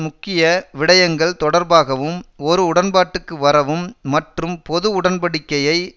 முக்கிய விடயங்கள் தொடர்பாகவும் ஓர் உடன்பாட்டுக்கு வரவும் மற்றும் பொதுஉடன்படிக்கையை